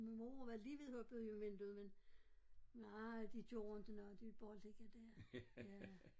Min mor var lige ved at hoppe ud af vinduet men nej de gjorde inte noget de ville bare ligge der ja